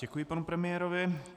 Děkuji panu premiérovi.